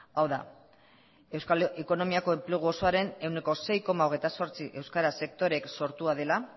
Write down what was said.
hau da euskal ekonomiako enplegu osoaren ehuneko sei koma hogeita zortzi euskara sektoreek sortua dela